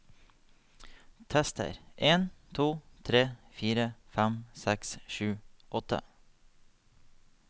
Tester en to tre fire fem seks sju åtte